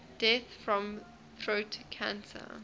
deaths from throat cancer